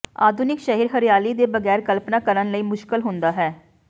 ਆਧੁਨਿਕ ਸ਼ਹਿਰ ਹਰਿਆਲੀ ਦੇ ਬਗੈਰ ਕਲਪਨਾ ਕਰਨ ਲਈ ਮੁਸ਼ਕਲ ਹੁੰਦਾ ਹੈ